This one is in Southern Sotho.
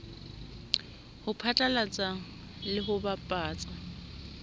ho phatlalatsa le ho bapatsa